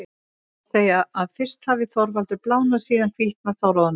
Þeir segja að fyrst hafi Þorvaldur blánað, síðan hvítnað, þá roðnað.